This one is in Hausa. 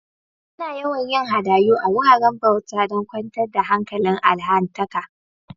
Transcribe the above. Ana yawan yin hadayu a'wuraren bauta dan kwantar da hankalin allahntaka.